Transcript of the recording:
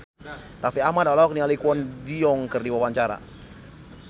Raffi Ahmad olohok ningali Kwon Ji Yong keur diwawancara